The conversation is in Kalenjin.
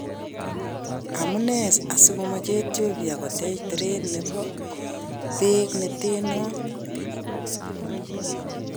Amune asikomache Ethiopia kotech teret nebo beek neten noon?